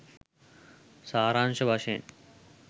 සාරාංශ වශයෙන්.